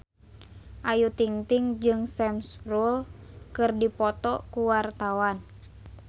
Ayu Ting-ting jeung Sam Spruell keur dipoto ku wartawan